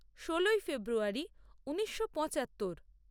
ষোলোই ফেব্রুয়ারী ঊনিশো পঁচাত্তর